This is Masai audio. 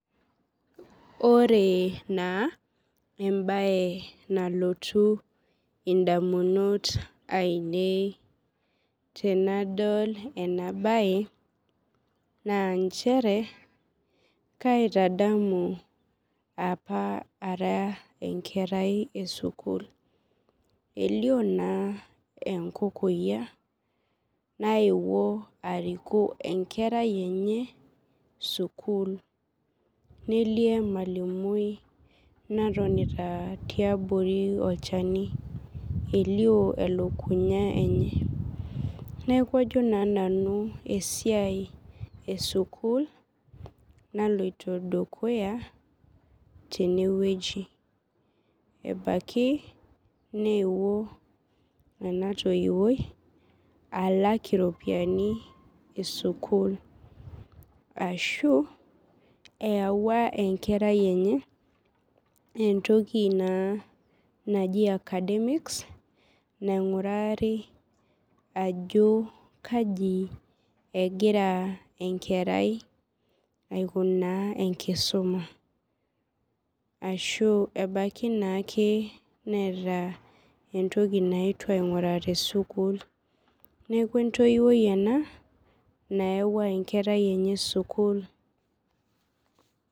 Ore na embae nalotu ondamunot ainei tenadol enabae na nchere kaitadamu apa ara enkerai esukul elio na enkokoyia naewuo ariku enkerai enye sukul nelio emalimui natonita tiabori olchani elio elukunye enye neaku ajo na nanu esiaia esukul naloito dukuya tenewueji ebaki neewuo enatoiwuoi alak iropiyiani esukul ashu eyawua enkera enye entoki naji academics naingurari ajo kaji egira enkerai aikunaa enkisuma ashu ebaki naake neeta entoki naetuo ainguraa tesukul neaku entoiwoi ena nayawua enkerai enye sukul.